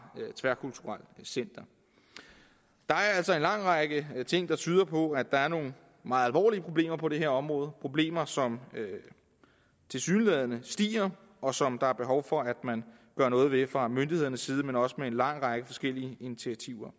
tværkulturelt center der er altså en lang række ting der tyder på at der er nogle meget alvorlige problemer på det her område problemer som tilsyneladende stiger og som der er behov for at man gør noget ved fra myndighedernes side også med en lang række forskellige initiativer